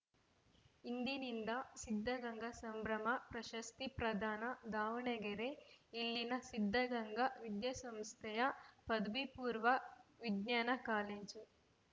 ಇಂದಿನಿಂದ ಸಿದ್ಧಗಂಗಾ ಸಂಭ್ರಮ ಪ್ರಶಸ್ತಿ ಪ್ರದಾನ ದಾವಣಗೆರೆ ಇಲ್ಲಿನ ಸಿದ್ಧಗಂಗಾ ವಿದ್ಯಾಸಂಸ್ಥೆಯ ಪದವಿ ಪೂರ್ವ ವಿಜ್ಞಾನ ಕಾಲೇಜು